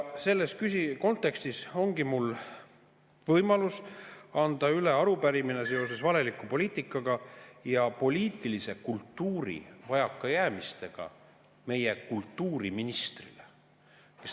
Selles kontekstis ongi mul võimalus anda üle arupärimine seoses valeliku poliitikaga ja poliitilise kultuuri vajakajäämistega meie kultuuriministrile.